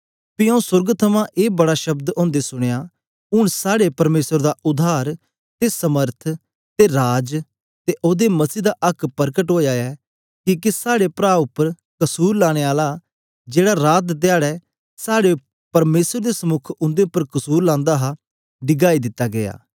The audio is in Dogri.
पी आऊँ सोर्ग थमां ए बड़ा शब्द ओदे सुनया हूंन साड़े परमेसर दा उद्धार ते समर्थ ते राज ते ओदे मसीह दा आक्क परकट ओया ऐ किके साड़े प्रां उपर कसुर लाने आला जेड़ा रात धयारे साड़े परमेसर दे समुक उंदे उपर कसुर लांदा हा डिगाई दिता गीया